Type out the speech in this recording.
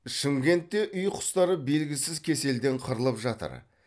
шымкентте үй құстары белгісіз кеселден қырылып жатыр